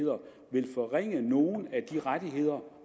vil forringe nogen af de rettigheder